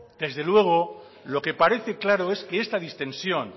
desde luego lo que parece claro es que esta distensión